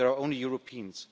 There are only Europeans.